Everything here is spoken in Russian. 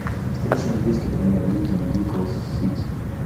встреча английской премьер лиги ньюкасл сити